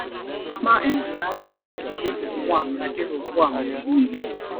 Ma e nwere agha n’etiti Rehoboam na Jeroboam mgbe niile.